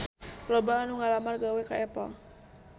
Loba anu ngalamar gawe ka Apple